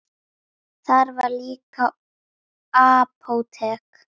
Þar var líka apótek.